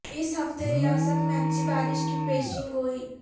اس ہفتے ریاست میں اچھی بارش کی پیشین گوئی